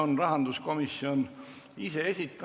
Eelnõu 29 teine lugemine on lõpetatud ja istung on lõppenud.